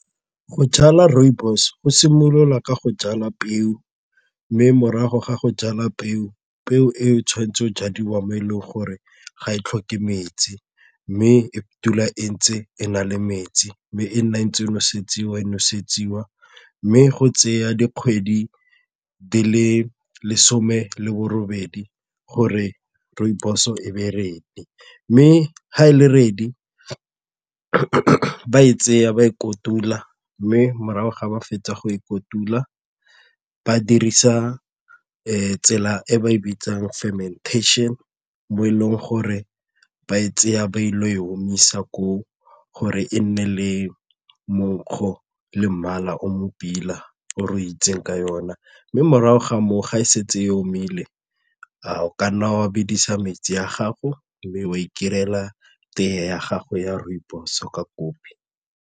Go jala rooibos go simolola ka go jala peo mme morago ga go jala peo, peo eo e tshwanetse go jadiwa mo e leng gore ga e tlhoke metsi mme e dula e ntse e na le metsi mme e nna ntse e nosetsiwa, e nosetsiwa mme go tseya dikgwedi di le lesome le borobedi gore rooibos e be ready. Mme ga e le ready ba e tseya ba e kotula mme morago ga ba fetsa go e kotula ba dirisa tsela e ba e bitsang fermentation mo e leng gore ba e tsaya ba ile go e omisa koo gore e nne le monkgo le mmala o mo pila o itsegeng ka yona mme morago ga moo ga e setse e omile a o ka nna wa bedisa metsi a gago mme wa tee ya gago ya rooibos ka kopi.